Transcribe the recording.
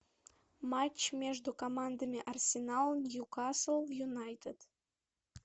матч между командами арсенал ньюкасл юнайтед